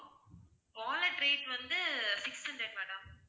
wallet rate வந்து six hundred madam